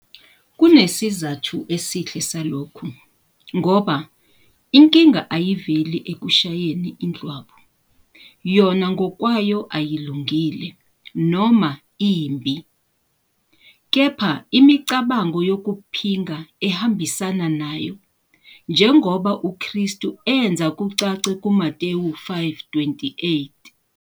Kunesizathu esihle salokhu ngoba inkinga ayiveli ekushayeni indlwabu, yona ngokwayo ayilungile noma imbi, kepha imicabango yokuphinga ehambisana nayo, njengoba uKristu enza kucace kuMathewu 5-28.